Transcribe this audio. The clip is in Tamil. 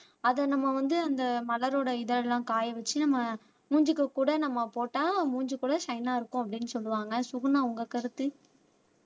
அதை நம்ம வந்து அந்த மலரோட இதழ் எல்லாம் காய வச்சு நம்ம மூஞ்சிக்கு கூட நம்ம போட்டா மூஞ்சி கூட ஷைனா இருக்கும் அப்படின்னு சொல்லுவாங்க சுகுணா உங்க கருத்து